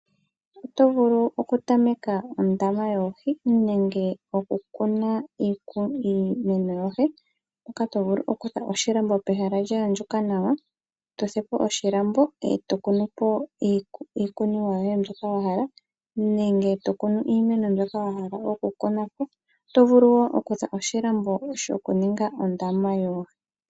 Oto vulu okutameka ondama yoohi nenge okukuna iinima yoye, mpoka to vulu okufula oshilambo pehala lya andjuka nawa, to fulu po oshilambo e to kunu po iikunomwa yoye mbyoka wa hala nenge to kunu iimeno mbyoka wa hala okukuna po. Oto vulu wo okufula oshilambo shokuninga ondama yoohi.